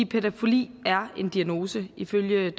pædofili er en diagnose ifølge